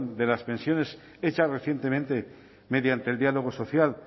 de las pensiones hecha recientemente mediante el diálogo social